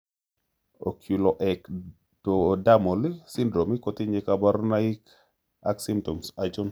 Oculoectodermal syndrome kotinye kaborunoik ak symptoms achon